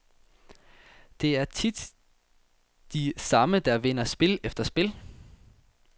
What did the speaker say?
Det er tit de samme, der vinder spil efter spil.